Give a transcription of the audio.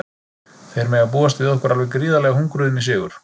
Þeir mega búast við okkur alveg gríðarlega hungruðum í sigur.